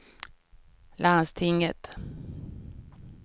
landstinget